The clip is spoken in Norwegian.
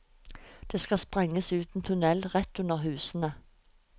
Det skal sprenges ut en tunnel rett under husene.